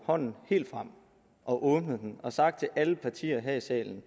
hånden helt frem og åbnet den og sagt til alle partier her i salen